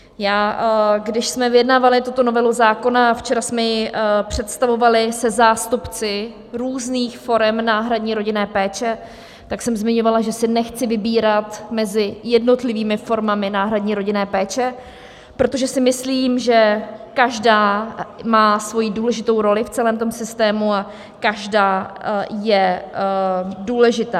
Když jsme vyjednávali tuto novelu zákona, včera jsme ji představovali, se zástupci různých forem náhradní rodinné péče, tak jsem zmiňovala, že si nechci vybírat mezi jednotlivými formami náhradní rodinné péče, protože si myslím, že každá má svoji důležitou roli v celém tom systému a každá je důležitá.